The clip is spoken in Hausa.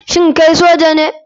Shin kai soja ne